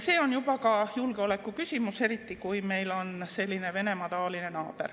See on juba ka julgeoleku küsimus, eriti kui meil on selline naaber nagu Venemaa.